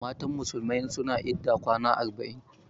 Matan musulmai suna idda kwana arba'in.